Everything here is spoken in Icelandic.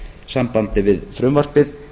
sambandi við frumvarpið